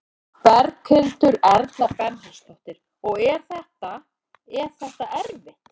Berghildur Erla Bernharðsdóttir: Og er þetta, er þetta erfitt?